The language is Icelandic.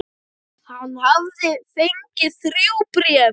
Hann hafði fengið þrjú bréf.